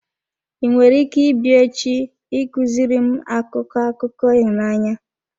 I nwere ike ịbịa echi ị kuziri m akụkọ akụkọ ịhụnanya?